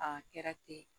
A kɛra ten